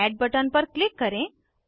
अब add button पर click करें